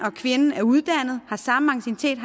og kvinden er uddannet har samme anciennitet